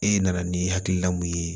E nana ni hakilina mun ye